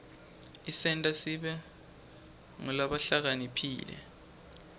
isenta sibe ngulabahlakaniphile